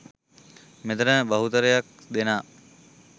මෙතන බහුතරයක් දෙනා